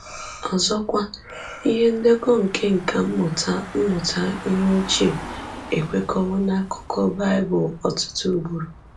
Ọzọkwa, ihe ndekọ nke nkà mmụta mmụta ihe ochie ekwekọwo n’akụkọ Bible ọtụtụ ugboro.